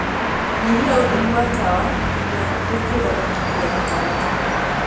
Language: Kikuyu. nyihia ūtheri wa tawa ngina gīkiro gīa gatagatī